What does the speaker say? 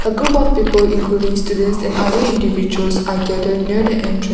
a group of people including students and other individuals are gathered near the entran--